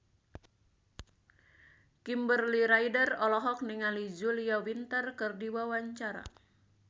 Kimberly Ryder olohok ningali Julia Winter keur diwawancara